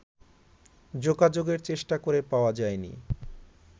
যোগাযোগের চেষ্টা করে পাওয়া যায়নি